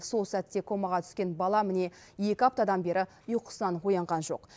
сол сәтте комаға түскен бала міне екі аптадан бері ұйқысынан оянған жоқ